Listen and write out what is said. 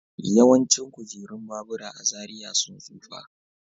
Yawancin kujerun babura a Zaria sun tsufa.